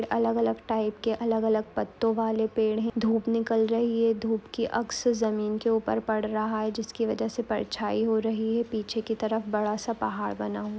अलग अलग टाइप के अलग अलग पत्तों वाले पेड़ है धूप निकल रही है धूप की अक्स जमीन के ऊपर पढ़ रहा है जिसकी वजह से परछाई हो रही है पीछे की तरफ बड़ा सा पहाड़ बना हु--